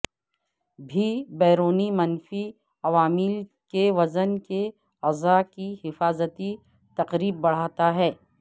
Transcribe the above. بھی بیرونی منفی عوامل کے وژن کے اعضاء کی حفاظتی تقریب بڑھاتا ہے